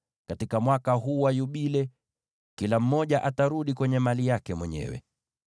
“ ‘Katika huu Mwaka wa Yubile, kila mmoja atarudi kwenye mali yake mwenyewe.